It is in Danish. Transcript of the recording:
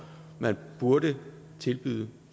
man burde tilbyde